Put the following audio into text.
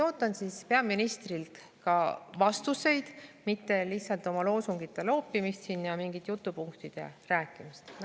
" Ootan peaministrilt ka vastuseid, mitte lihtsalt loosungite loopimist, mingite jutupunktide rääkimist.